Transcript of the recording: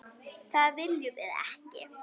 Það viljum við ekki!